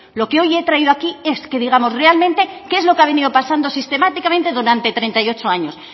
lo que hoy he traído aquí es que digamos realmente qué es lo que ha venido pasando sistemáticamente durante treinta y ocho años